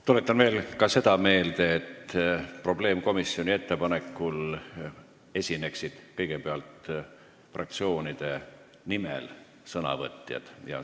Tuletan veel ka seda meelde, et probleemkomisjoni ettepanekul esinevad kõigepealt fraktsioonide nimel sõnavõtjad.